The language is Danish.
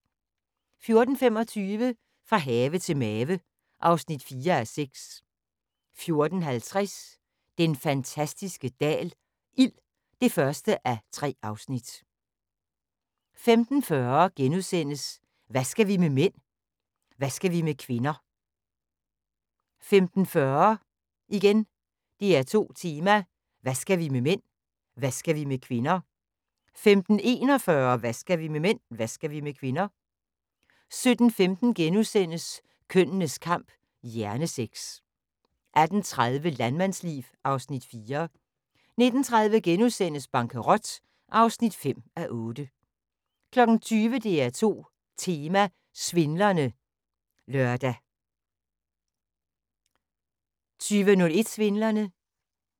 14:25: Fra have til mave (4:6) 14:50: Den fantastiske dal – ild (1:3) 15:40: Hvad skal vi med mænd? Hvad skal vi med kvinder? * 15:40: DR2 Tema: Hvad skal vi med mænd? Hvad skal vi med kvinder? 15:41: Hvad skal vi med mænd? Hvad skal vi med kvinder? 17:15: Kønnenes Kamp – hjernesex * 18:30: Landmandsliv (Afs. 4) 19:30: Bankerot (5:8)* 20:00: DR2 Tema: Svindlerne (lør) 20:01: Svindlerne